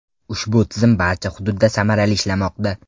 Ushbu tizim barcha hududda samarali ishlamoqda.